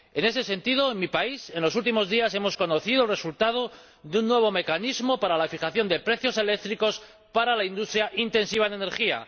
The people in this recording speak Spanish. En ese sentido, en mi país en los últimos días hemos conocido el resultado de un nuevo mecanismo para la fijación de precios eléctricos para la industria intensiva en energía.